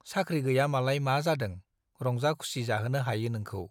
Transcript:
साख्रि गैया मालाय मा जादों - रंजा खुसि जाहोनो हायो नोंखौ ।